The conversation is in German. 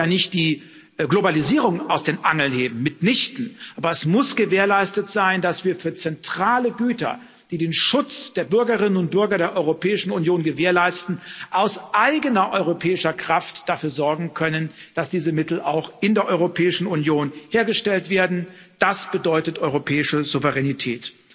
Nun wollen wir ja nicht die Globalisierung aus den Angeln heben mitnichten! Aber es muss gewährleistet sein, dass wir für zentrale Güter, die den Schutz der Bürgerinnen und Bürger der Europäischen Union gewährleisten, aus eigener europäischer Kraft dafür sorgen können, dass diese Mittel auch in der Europäischen Union hergestellt werden das bedeutet europäische Souveränität.